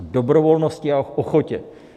Dobrovolnosti a ochotě.